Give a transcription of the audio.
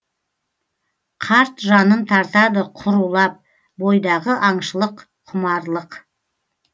қарт жанын тартады құрулап бойдағы аңшылық құмарлық